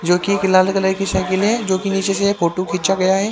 जो कि एक लाल कलर के साइकिल है जो कि नीचे से फोटो खींचा गया है।